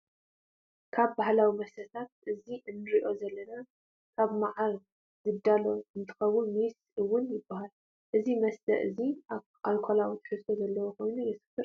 ካብ ባህላዊ መስተታት እዚ እንረኦ ዘለና ካብ መዓር ዝዳሎ እንትከው ሜስ እውን ይበሃል። እዚ መስተ እዙይ ኣርኮላዊ ትሕዝቶ ዘለዎ ኮይኑ የስክር እዩ።